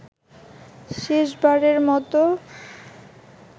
শেষবারের মতো